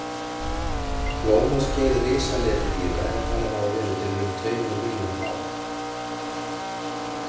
Blómaskeið risaletidýra er talið hafa verið fyrir um tveimur milljónum ára.